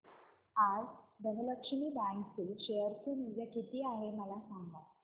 आज धनलक्ष्मी बँक चे शेअर चे मूल्य किती आहे मला सांगा